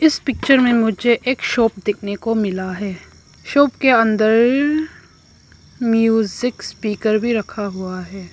इस पिक्चर में मुझे एक शॉप दिखने को मिला है शॉप के अंदर म्यूजिक स्पीकर भी रखा हुआ है।